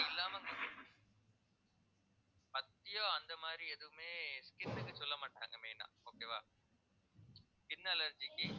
பத்தியம் அந்த மாதிரி எதுவுமே skin க்கு சொல்லமாட்டாங்க main ஆ okay வா skin allergy க்கு